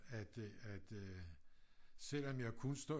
At øh at øh selvom jeg kun står